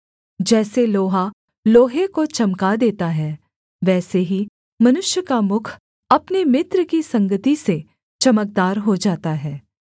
जैसे लोहा लोहे को चमका देता है वैसे ही मनुष्य का मुख अपने मित्र की संगति से चमकदार हो जाता है